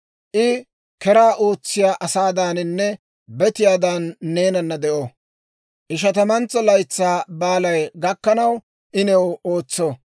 I keraa ootsiyaa asaadaaninne betiyaadan neenana de'o; Ishatamantso Laytsaa Baalay gakkanaw I new ootso.